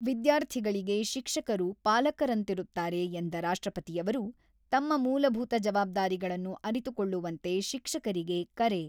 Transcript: ವಿದ್ಯಾರ್ಥಿಗಳಿಗೆ ಶಿಕ್ಷಕರು ಪಾಲಕರಂತಿರುತ್ತಾರೆ ಎಂದ ರಾಷ್ಟ್ರಪತಿಯವರು, ತಮ್ಮ ಮೂಲಭೂತ ಜವಾಬ್ದಾರಿಗಳನ್ನು ಅರಿತುಕೊಳ್ಳುವಂತೆ ಶಿಕ್ಷಕರಿಗೆ ಕರೆ